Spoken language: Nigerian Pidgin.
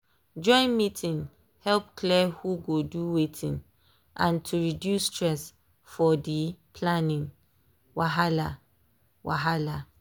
join meeting help clear who go do wetin and to reduce stress for dey planning wahala. wahala.